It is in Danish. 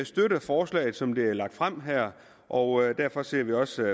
støtter forslaget som det er lagt frem her og derfor ser vi også